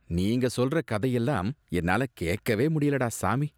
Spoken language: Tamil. நீங்க சொல்ற கதையெல்லாம் என்னால கேக்கவே முடியலடா, சாமி